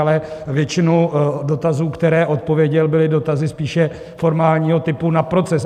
Ale většinu dotazů, které odpověděl, byly dotazy spíše formálního typu na proces.